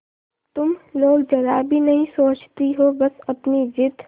तुम लोग जरा भी नहीं सोचती हो बस अपनी जिद